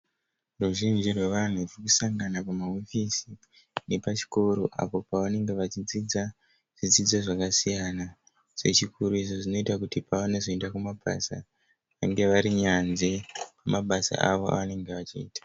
Ruzhinji rwevanhu rurikusangana pamahofisi epachikoro apo pavanenge vachidzidza zvidzidzo zvakasiyana zvechikoro izvo zvinoita kuti pavanozoenda kumabasa vange vari nyanzvi mumabasa avo avanenge vachiita.